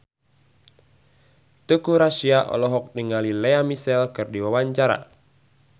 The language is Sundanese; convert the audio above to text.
Teuku Rassya olohok ningali Lea Michele keur diwawancara